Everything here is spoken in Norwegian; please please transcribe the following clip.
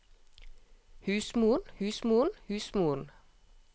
husmoren husmoren husmoren